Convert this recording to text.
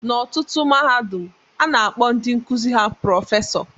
N'ọtụtụ mahadum, a na-akpọ ndị nkuzi ha prọfesọ